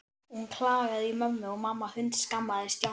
Hún klagaði í mömmu og mamma hundskammaði Stjána.